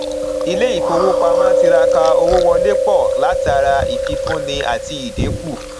ilé ìfowópamọ tiraka owó wọlé pọ látara ìfífúni àti ìdínkù